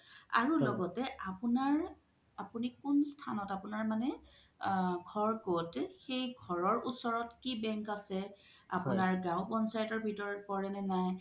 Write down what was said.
আৰু লগতে আপোনাৰ আপুনি কোন স্থানত আপোনাৰ মানে আ ঘৰ ক্'ত সেই ঘৰৰ ওচৰত কি বন্ক আছে আপোনাৰ গও পঞ্চায়তৰ ভিতৰত পোৰে নে নাই